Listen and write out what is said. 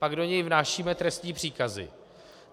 Pak do něj vnášíme trestní příkazy.